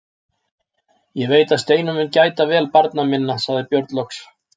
Ég veit að Steinunn mun gæta vel barna minna, sagði Björn loks.